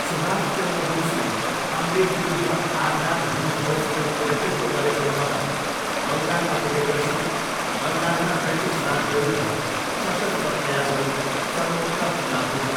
सुभाष चन्द्र बोसले अङ्ग्रेजविरुद्ध आजाद हिन्द फौजको नेतृत्व गरेको खबर बङ्गालमा पुगेपछि बङ्गालमा ब्रिटिस राजविरुद्ध सशस्त्र प्रयासहरू चरमोत्कर्षमा पुग्यो।